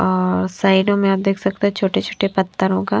और साइडोंम में आप देख सकते हैंछोटे-छोटे पत्थर होगा--